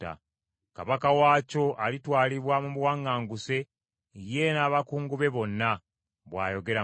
Kabaka waakyo alitwalibwa mu buwaŋŋanguse, ye n’abakungu be bonna,” bw’ayogera Mukama .